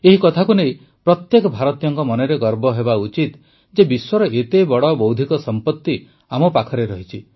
ଏହି କଥାକୁ ନେଇ ପ୍ରତ୍ୟେକ ଭାରତୀୟଙ୍କ ମନରେ ଗର୍ବ ହେବା ଉଚିତ ଯେ ବିଶ୍ୱର ଏତେବଡ଼ ବୌଦ୍ଧିକ ସମ୍ପତି ଆମ ପାଖରେ ରହିଛି